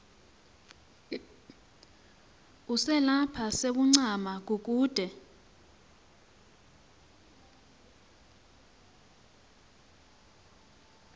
uselapha sewuncama kukude